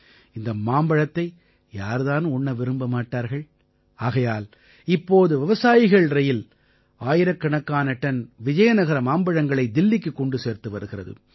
இந்த மாம்பழத்தை யார் தான் உண்ண விரும்ப மாட்டார்கள் ஆகையால் இப்போது விவசாயிகள்ரயில் ஆயிரக்கணக்கான டன் விஜயநகர மாம்பழங்களை தில்லிக்குக் கொண்டு சேர்த்து வருகிறது